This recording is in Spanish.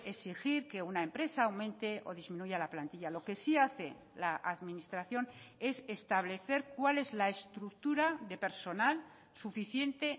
exigir que una empresa aumente o disminuya la plantilla lo que sí hace la administración es establecer cuál es la estructura de personal suficiente